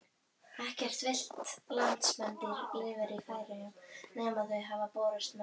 Ekkert villt landspendýr lifir í Færeyjum nema þau sem hafa borist með mönnum.